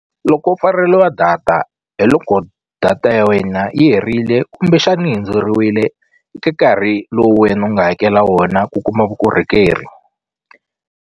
Loko u data hi loko data ya wena yi herile kumbexani hundzeriwile eka nkarhi lowu wena u nga hakela wona ku kuma vukorhokeri.